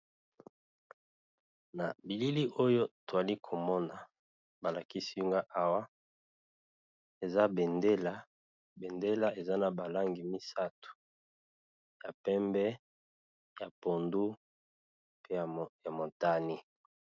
Na bilili oyo to zali ko mona ba lakisi nga awa eza Vendée. Bendele eza na ba langi misato ya pembe, ya pondu pe ya motane .